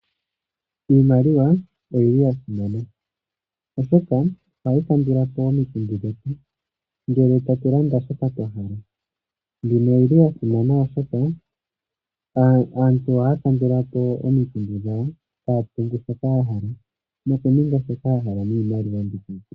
Iimaliwa oyili yasimana oshoka ohayi kandulapo omikundu dhetu ngele tatu landa shoka twahala. Mbino oyili yasimana oshoka aantu ohaa kandulapo omikundu dhawo haa tungu shoka yahala noku ninga shoka yahala.